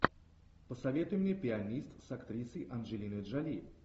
посоветуй мне пианист с актрисой анджелиной джоли